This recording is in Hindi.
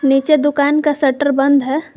नीचे दुकान का शटर बंद है।